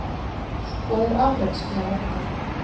Skoðið afrekaskrá okkar